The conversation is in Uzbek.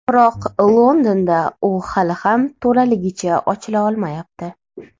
Biroq Londonda u hali ham to‘laligicha ochila olmayapti.